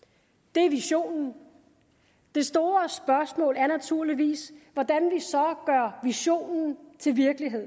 det er visionen det store spørgsmål er naturligvis hvordan vi så gør visionen til virkelighed